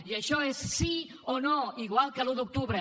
i això és sí o no igual que l’un d’octubre